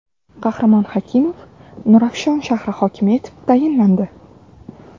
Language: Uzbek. Qahramon Hakimov Nurafshon shahri hokimi etib tayinlandi.